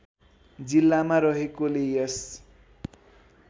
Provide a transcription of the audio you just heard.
जिल्लामा रहेकोले यस